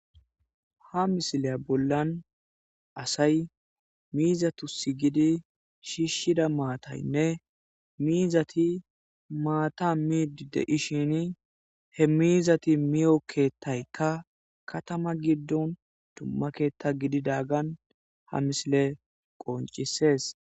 Ha missile bollan assayi mizatusi gidi shishida maththayine mizathi maththa midi de'shini he mizathi miyo keththaykka kathama gidon dumma ketha gididagan ha missile qoncises.